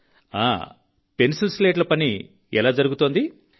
ప్రధాన మంత్రి గారు పెన్సిల్స్లేట్ల పని ఎలా జరుగుతోంది